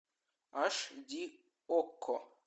аш ди окко